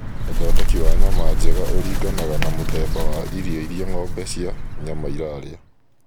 ũthondeki wa nyama njega ũringanaga na mũthemba wa irio irĩa ng'ombe cia nyama irarĩa